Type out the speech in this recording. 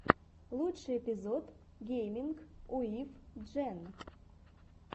лучший эпизод гейминг уив джен